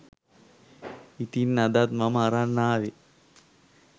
ඉතින් අදත් මම අරන් ආවෙ